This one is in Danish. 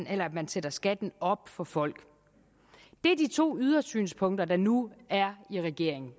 at man sætter skatten op for folk det er de to ydersynspunkter der nu er i regeringen